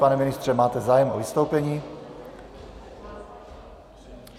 Pane ministře, máte zájem o vystoupení?